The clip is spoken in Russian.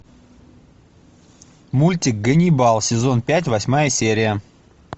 мультик ганнибал сезон пять восьмая серия